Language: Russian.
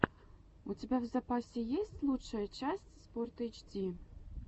у тебя в запасе есть лучшая часть спортэйчди